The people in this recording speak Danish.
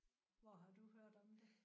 Hvor har du hørt om det?